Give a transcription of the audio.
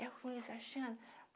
É ruim Sebastiana